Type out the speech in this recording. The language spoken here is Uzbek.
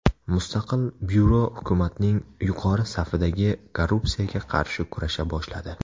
Mustaqil byuro hukumatning yuqori safidagi korrupsiyaga qarshi kurasha boshladi.